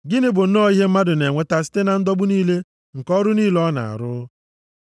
Gịnị bụ nnọọ ihe mmadụ na-enweta site na ndọgbu niile nke nʼọrụ niile ọ na-arụ?